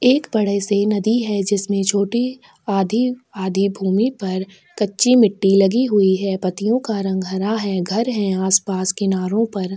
एक बड़ी सी नदी है जिसमे छोटी आधी आधी भूमि पर कच्ची मिट्टी लगी हुई है पत्तियों का रंग हरा घर है आस पास किनारो पर।